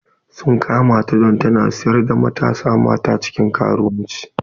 Sun kama ta don tana sayar da matasa mata cikin karuwanci.